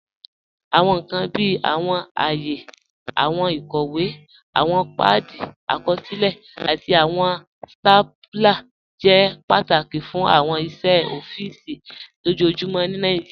Awọn nkan bíi awọn àayè, awọn ikọwe, awọn paadi àkọsilẹ̀, àti awọn stapúlà jẹ́ pátákì fún awọn iṣẹ̀ ọ̀fíìsì lojoojumọ̀ ní Nàìjíríà.